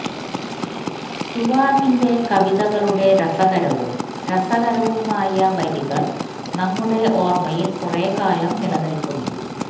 റ്റുവാമിന്റെ കവിതകളുടെ രസകരവും രസകരവുമായ വരികൾ നമ്മുടെ ഓർമ്മയിൽ കുറെക്കാലം നിലനിൽക്കുന്നു